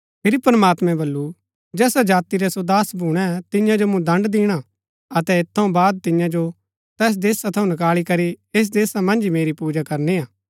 फिरी प्रमात्मैं बल्लू जैसा जाति रै सो दास भूणै तियां जो मूँ दण्ड़ दिणा अतै ऐत थऊँ बाद तियां जो तैस देशा थऊँ निकळी करी ऐस देशा मन्ज ही मेरी पूजा करनी हा